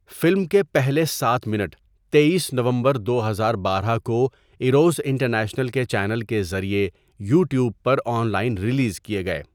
Film کے پہلے سات منٹ تٮٔیس نومبر دو ہزار بارہ کو ایروس انٹرنیشنل کے چینل کے ذریعے یوٹیوب پر آن لائن ریلیز کیے گئے.